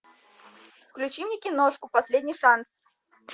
включи мне киношку последний шанс